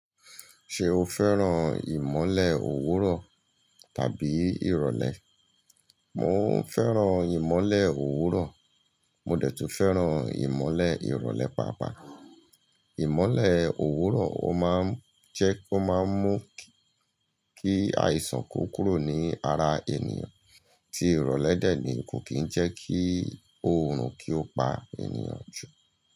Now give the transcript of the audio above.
Ṣé o fẹ́ràn ìmọ̀le òwúrọ̀ tàbí ìrọ̀lẹ́? Mò fẹ́ràn ìmọ̀le òwúrọ̀, mo dẹ̀ tún fẹ́ràn ìmọ̀le ìrọ̀lẹ́ páápàá. Ìmọ̀le òwúrọ̀ ó máa ń jẹ́ kó máa ń mú kí àìsàn kú kúrò ní ara ènìyàn, tí ìrọ̀lẹ́ dẹ̀ ni ò kí ń jẹ́ kí oòrùn kí ó pa ènìyàn jù.